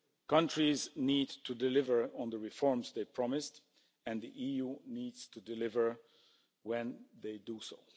Countries need to deliver on the reforms they promised, and the EU needs to deliver when they do so.